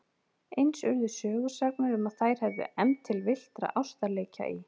Eins urðu sögusagnir um að þær hefðu efnt til villtra ástarleikja í